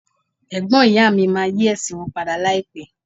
Ẹ̀gbọ́n ìyá mi máa yí ẹ̀sìn wọn padà láìpé.